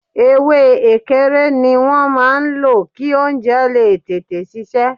Ewé ekere ni wọn máa ń lò, kí oúnjẹ lè tètè sisẹ́